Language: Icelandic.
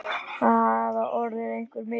Það hafa orðið einhver mistök!